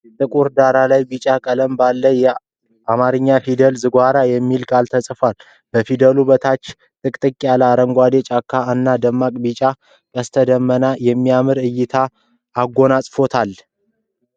ጥቁር ዳራ ላይ ቢጫ ቀለም ባለው የአማርኛ ፊደላት "ዝጎራ" የሚል ቃል ተጽፏል። ከፊደሉ በታች ጥቅጥቅ ያለው አረንጓዴ ጫካ እና ደማቅ ቢጫ ቀስተ ደመና የሚያምር እይታን አጎናጥጽፎታል።